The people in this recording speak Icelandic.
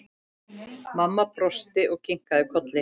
Mamma brosti og kinkaði kolli.